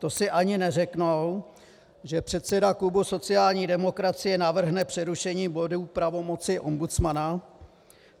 To si ani neřeknou, že předseda klubu sociální demokracie navrhne přerušení bodu pravomoci ombudsmana?